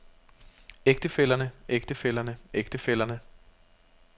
ægtefællerne ægtefællerne ægtefællerne